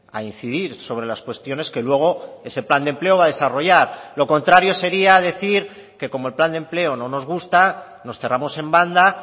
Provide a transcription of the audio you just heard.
a incidir sobre las cuestiones que luego ese plan de empleo va a desarrollar lo contrario sería decir que como el plan de empleo no nos gusta nos cerramos en banda